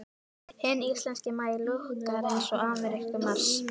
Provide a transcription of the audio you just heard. Hinn íslenski maí lúkkar eins og amerískur mars.